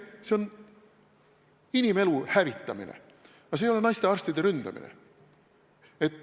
See on inimelu hävitamine, aga see ei ole naistearstide ründamine.